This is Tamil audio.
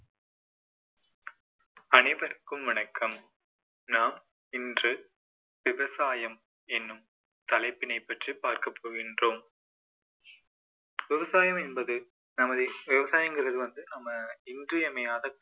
அனைவருக்கும் வணக்கம் நாம் இன்று விவசாயம் என்னும் தலைப்பினை பற்றி பார்க்க போகின்றோம் விவசாயம் என்பது நமது விவசாயங்கள் வந்து நம்ம இன்றியமையாத